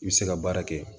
I bɛ se ka baara kɛ